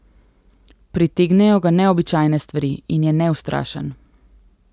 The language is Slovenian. Pritegnejo ga neobičajne stvari in je neustrašen.